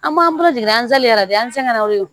An b'an jigin an bɛ se ka na o de